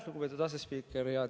Lugupeetud asespiiker!